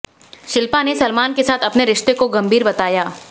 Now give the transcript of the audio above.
शिल्पा ने सलमान के साथ अपने रिश्ते को गंभीर बताया